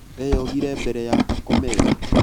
Eyogire mbere ya akomete?